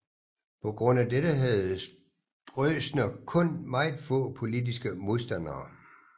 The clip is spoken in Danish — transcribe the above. På grund af dette havde Stroessner kun meget få politiske modstandere